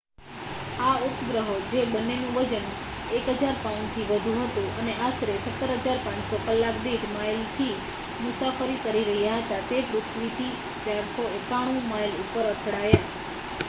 આ ઉપગ્રહો જે બંનેનું વજન 1000 પાઉન્ડથી વધુ હતું, અને આશરે 17,500 કલાક દીઠ માઇલથી મુસાફરી કરી રહ્યા હતા તે પૃથ્વીથી 491 માઇલ ઉપર અથડાયા